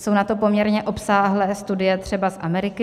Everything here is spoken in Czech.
Jsou na to poměrně obsáhlé studie třeba z Ameriky.